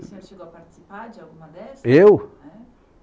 O senhor chegou a participar de alguma dessas? Eu?